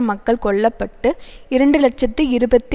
மக்கள் கொல்ல பட்டு இரண்டு இலட்சத்தி இருபத்தி